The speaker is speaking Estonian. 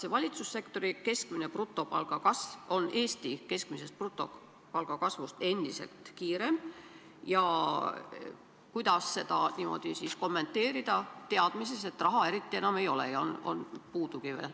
Kas valitsussektori keskmise brutopalga kasv on Eesti keskmise brutopalga kasvust endiselt kiirem ja kuidas seda siis kommenteerida, kui on teada, et raha eriti enam ei ole ja on hoopis puudu?